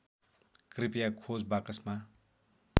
कृपया खोज बाकसमा